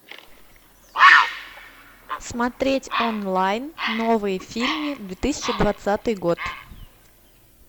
смотреть онлайн новые фильмы две тысячи двадцатый год